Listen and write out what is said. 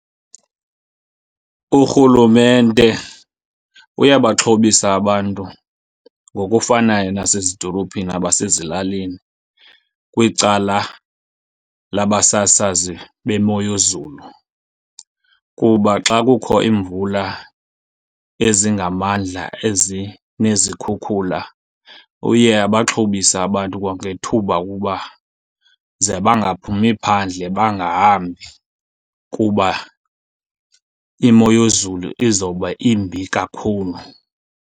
Urhulumente uyabaxhobisa abantu ngokufanayo nasezidolophini nabasezilalini kwicala labasasazi bemo yezulu. Kuba xa kukho iimvula ezingamandla ezinezikhukhula uye abaxhobise abantu kwangethuba ukuba ze bangaphumi phandle bangahambi, kuba imo yezulu izobe imbi kakhulu.